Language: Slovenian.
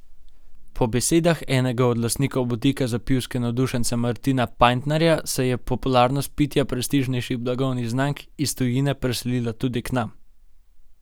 Po besedah enega od lastnikov butika za pivske navdušence Martina Pajntarja se je popularnost pitja prestižnejših blagovnih znamk iz tujine preselila tudi k nam.